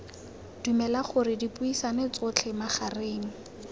dumela gore dipuisano tsotlhe magareng